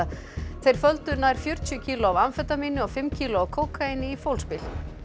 þeir földu nær fjörutíu kíló af amfetamíni og fimm kíló af kókaíni í fólksbíl